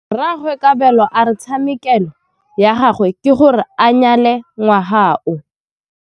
Rragwe Kabelo a re tshekamêlô ya gagwe ke gore a nyale ngwaga o.